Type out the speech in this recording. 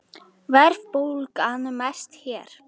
Verðbólgan mest hér